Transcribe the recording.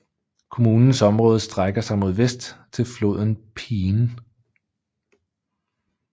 Kommunens område strækker sig mod vest til floden Peene